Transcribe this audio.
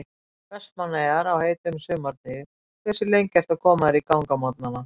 Vestmannaeyjar á heitum sumardegi Hversu lengi ertu að koma þér í gang á morgnanna?